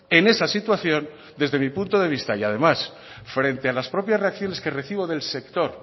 en esa situación desde mi punto de vista y además frente a las propias reacciones que recibo del sector